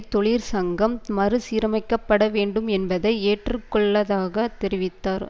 தொழிற்சங்கம் மறுசீரமைக்கப்பட வேண்டும் என்பதை ஏற்றுக்கொள்ளதாக தெரிவித்தார்